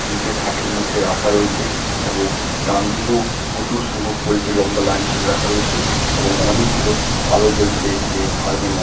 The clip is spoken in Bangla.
তিনটে থাকের মধ্যে রাখা রয়েছে এবং ডানদিকেও প্রচুর সংখ্যক পোল্ট্রী লম্বা লাইন করে রাখা রয়েছে এবং অনেকগুলো আলো জ্বলছে এই ফার্ম -এর ম--